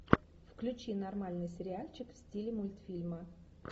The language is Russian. включи нормальный сериальчик в стиле мультфильма